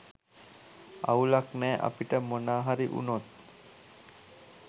අවුලක් නෑ අපිට මොනාහරි උනොත්